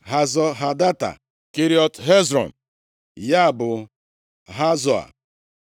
Hazọ Hadata, Keriọt Hezrọn (ya bụ Hazoa),